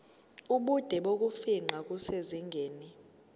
ubude bokufingqa kusezingeni